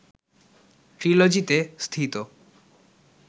‘ট্রিলজি’তে স্থিত